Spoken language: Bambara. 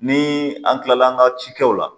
Ni an kilala an ka ci kɛw la